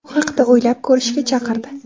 bu haqda o‘ylab ko‘rishga chaqirdi.